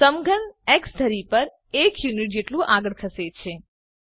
સમઘન x ધરી પર 1 unit જેટલું આગળ ખસે છે